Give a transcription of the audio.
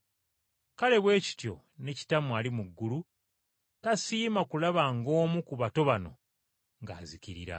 Kale bwe kityo ne Kitammwe ali mu ggulu tasiima kulaba ng’omu ku bato bano ng’azikirira.”